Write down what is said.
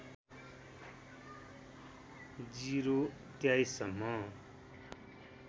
०२३ सम्म